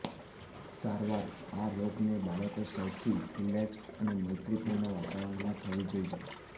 સારવાર આ રોગને બાળકો સૌથી રિલેક્સ્ડ અને મૈત્રીપૂર્ણ વાતાવરણમાં થવી જોઈએ